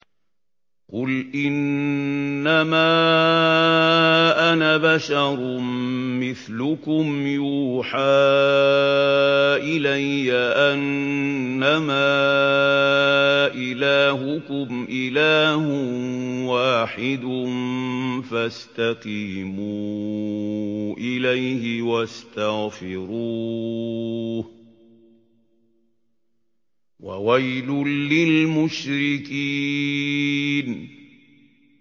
قُلْ إِنَّمَا أَنَا بَشَرٌ مِّثْلُكُمْ يُوحَىٰ إِلَيَّ أَنَّمَا إِلَٰهُكُمْ إِلَٰهٌ وَاحِدٌ فَاسْتَقِيمُوا إِلَيْهِ وَاسْتَغْفِرُوهُ ۗ وَوَيْلٌ لِّلْمُشْرِكِينَ